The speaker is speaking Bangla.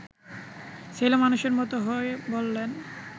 ছেলেমানুষের মতো হয়ে বললেন